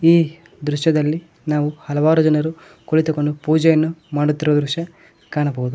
ಈ ದೃಶ್ಯದಲ್ಲಿ ನಾವು ಹಲವಾರು ಜನರು ಕುಳಿತುಕೊಂಡು ಪೂಜೆಯನ್ನು ಮಾಡುತ್ತಿರುವ ದೃಶ್ಯ ಕಾಣಬಹುದು.